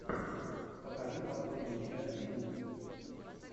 покажи последнюю часть гуд